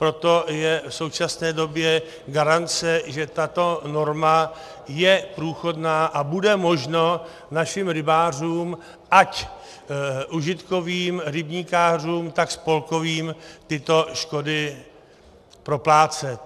Proto je v současné době garance, že tato norma je průchodná a bude možno našim rybářům, ať užitkovým rybníkářům, tak spolkovým, tyto škody proplácet.